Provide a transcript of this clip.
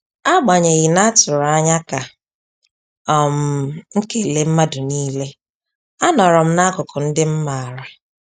Agbanyeghi na-atụrụ anya ka um m kele mmadụ niile,a nọrọm n'akụkụ ndị m maara